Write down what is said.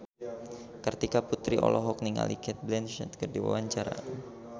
Kartika Putri olohok ningali Cate Blanchett keur diwawancara